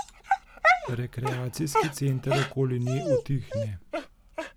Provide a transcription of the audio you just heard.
Rekreacijski center okoli nje utihne.